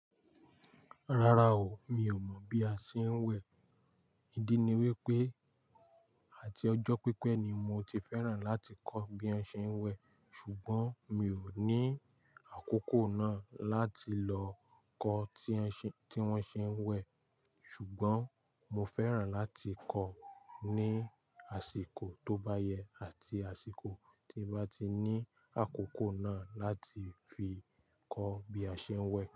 Rárá o, mi ò mọ̀ bí a ṣe ń wẹ̀. Ídí ni wípé, àti ọjọ́ pípẹ́ ni mo ti fẹ́ràn láti kọ́ bí wọ́n ṣe ń wẹ̀, ṣùgbọ́n mi ò ní àkókò náà láti lọ kọ́ tí wọ́n ṣe ń wẹ̀. Ṣùgbọ́n mo fẹ́ràn láti kọ́ ní àsìkò tó bá yẹ, àti àsìkò tí n bá ti ní àkókò náà láti fi kọ́ bí a ṣe ń wẹ̀